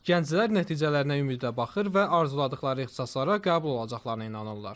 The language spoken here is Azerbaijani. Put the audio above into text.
Gənclər nəticələrinə ümidlə baxır və arzuladıqları ixtisaslara qəbul olacaqlarına inanırlar.